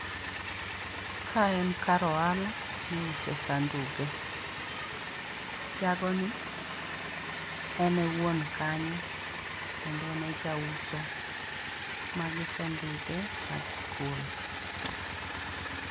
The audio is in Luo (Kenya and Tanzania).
Ka en kar ohala miuse sanduge, jagoni en e wuon kanyo kendo en e jauso mage sanduge mag skul